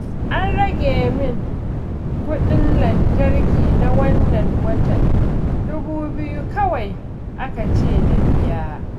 An rage min kuɗin lantarki na wannan watan, dubu biyu kawai aka ce na biya